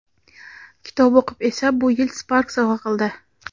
kitob o‘qib esa bu yil "Spark" sovg‘a qildi.